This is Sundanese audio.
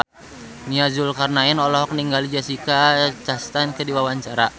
Nia Zulkarnaen olohok ningali Jessica Chastain keur diwawancara